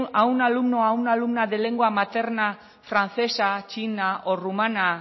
a un alumno o a una alumna de lengua materna francesa chica o rumana